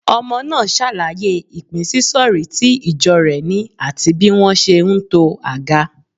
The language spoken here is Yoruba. Ọmọ náà ṣàlàyé ìpínsísọ̀rí tí ìjọ rẹ̀ ni àti bí wọ́n ṣe ń to aga.